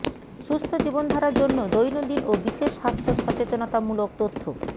সুস্থ জীবনধারার জন্য দৈনন্দিন ও বিশেষ স্বাস্থ্য সচেতনতামূলক তথ্য